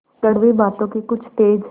कड़वी बातों के कुछ तेज